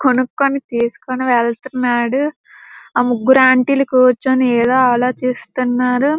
కొనుక్కొని తీసుకొని వెళ్తున్నాడు. ఆ ముగ్గురు ఆంటీ లు కూర్చొని ఏదో ఆలోచిస్తున్నారు.